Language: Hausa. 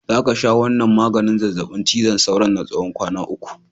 Za ka sha wannan maganin zazzabin cizon sauron na tsawon kwana uku!